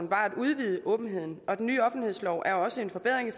var at udvide åbenheden og den nye offentlighedslov er også en forbedring i